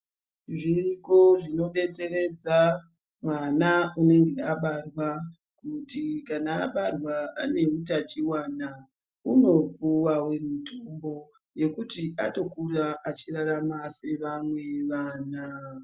Zviriko zvinodetseredza mwana unenge abarwa kuti kana abarwa ane utachiwana unopuwa mutombo wekuti atokura achirarama sevamwe vana.